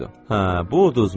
Hə, bu uduzmur.